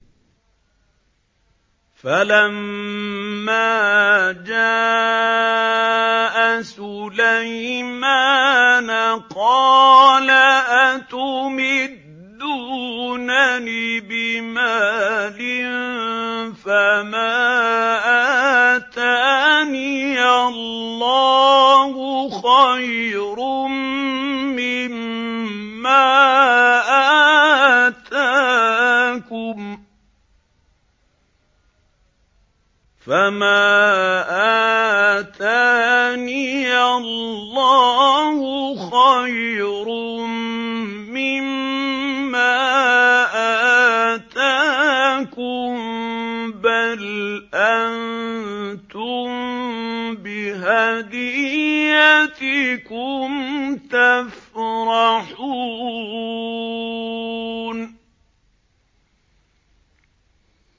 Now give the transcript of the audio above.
فَلَمَّا جَاءَ سُلَيْمَانَ قَالَ أَتُمِدُّونَنِ بِمَالٍ فَمَا آتَانِيَ اللَّهُ خَيْرٌ مِّمَّا آتَاكُم بَلْ أَنتُم بِهَدِيَّتِكُمْ تَفْرَحُونَ